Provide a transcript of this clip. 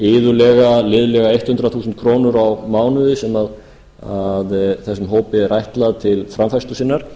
iðulega liðlega hundrað þúsund krónur á mánuði sem þessum hópi er ætlað til framfærslu sinnar